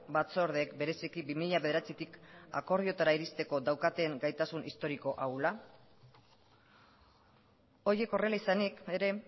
batzordeek bereziki bi mila bederatzitik akordioetara iristeko daukaten gaitasun historiko ahula horiek horrela izanik ere